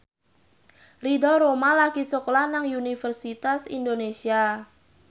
Ridho Roma lagi sekolah nang Universitas Indonesia